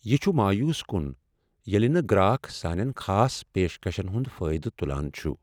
یِہ چُھ مایوس کن ییلِہ نہٕ گراکھ سانین خاص پیشکشن ہنٛد فٲیدٕ تلان چھ ۔